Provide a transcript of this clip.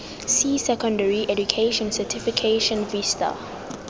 c secondary education certification vista